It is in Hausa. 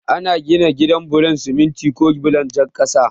Ana gina gida bulon siminti ko bulon jan kasa.